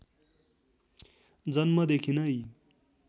जन्मदेखि नै